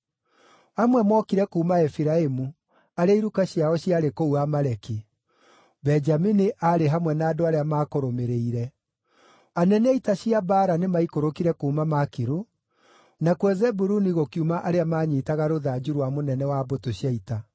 Amwe mookire kuuma Efiraimu, arĩa iruka ciao ciarĩ kũu Amaleki; Benjamini aarĩ hamwe na andũ arĩa maakũrũmĩrĩire. Anene a ita cia mbaara nĩmaikũrũkire kuuma Makiru, nakuo Zebuluni gũkiuma arĩa maanyiitaga rũthanju rwa mũnene wa mbũtũ cia ita.